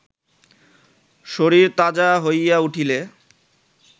শরীর তাজা হইয়া উঠিলে